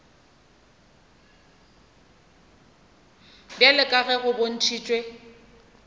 bjalo ka ge go bontšhitšwe